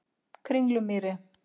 Kringlumýri